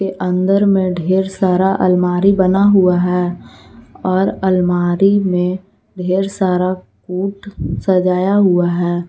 अंदर में ढेर सारा अलमारी बना हुआ है और अलमारी में ढेर सारा कूट सजाया हुआ है।